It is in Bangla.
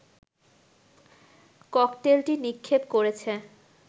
ককটেলটি নিক্ষেপ করেছে